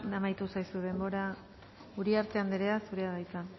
amaitu zaizu denbora uriarte andrea zurea da hitza